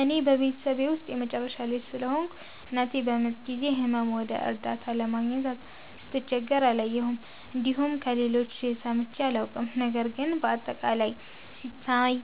እኔ በቤተሰቤ ውስጥ የመጨረሻ ልጅ ስለሆንኩ፣ እናቴ በምጥ ጊዜ ሕመም ወይም እርዳታ ለማግኘት ስትቸገር አላየሁም፣ እንዲሁም ከሌሎች ሰምቼም አላውቅም። ነገር ግን በአጠቃላይ ሲታይ፣